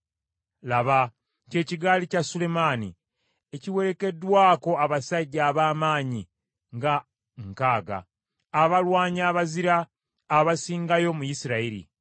Laba, kye kigaali kya Sulemaani, ekiwerekeddwako abasajja ab’amaanyi nga nkaaga, abalwanyi abazira abasingayo mu Isirayiri,